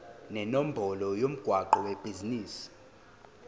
nenombolo yomgwaqo webhizinisi